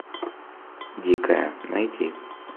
дикая найти